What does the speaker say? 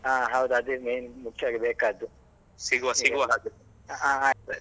ಹಾ ಹೌದು ಅದೇ main ಮುಖ್ಯವಾಗಿ ಬೇಕಾದ್ದು . ಹಾ ಹಾ ಅಯ್ತಾಯ್ತು.